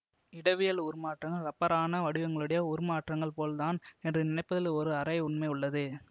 இடவியல் உருமாற்றங்கள் ரப்பரான வடிவங்களுடைய உருமாற்றங்கள் போல் தான் என்று நினைப்பதில் ஒரு அரை உண்மை உள்ளது